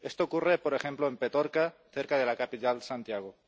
Esto ocurre, por ejemplo, en Petorca, cerca de la capital, Santiago.